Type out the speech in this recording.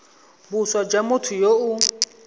boswa jwa motho yo o